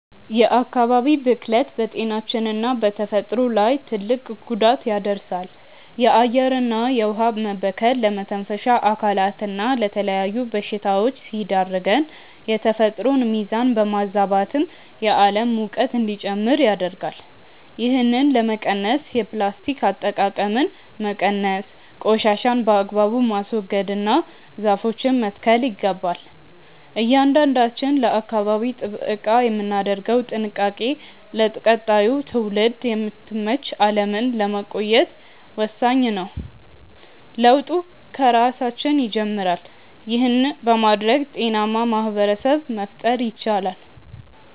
የአካባቢ ብክለት በጤናችንና በተፈጥሮ ላይ ትልቅ ጉዳት ያደርሳል። የአየርና የውኃ መበከል ለመተንፈሻ አካላትና ለተለያዩ በሽታዎች ሲዳርገን፣ የተፈጥሮን ሚዛን በማዛባትም የዓለም ሙቀት እንዲጨምር ያደርጋል። ይህንን ለመቀነስ የፕላስቲክ አጠቃቀምን መቀነስ፣ ቆሻሻን በአግባቡ ማስወገድና ዛፎችን መትከል ይገባል። እያንዳንዳችን ለአካባቢ ጥበቃ የምናደርገው ጥንቃቄ ለቀጣዩ ትውልድ የምትመች ዓለምን ለማቆየት ወሳኝ ነው። ለውጡ ከራሳችን ይጀምራል። ይህን በማድረግ ጤናማ ማኅበረሰብ መፍጠር ይቻላል።